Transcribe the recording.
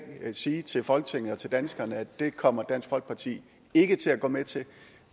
sige til folketinget og til danskerne at det kommer dansk folkeparti ikke til at gå med til